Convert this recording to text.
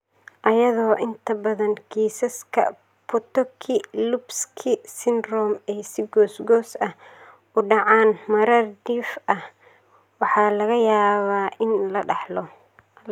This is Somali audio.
Iyadoo inta badan kiisaska Potocki Lupski syndrome ay si goos-goos ah u dhacaan, marar dhif ah, waxaa laga yaabaa in la dhaxlo.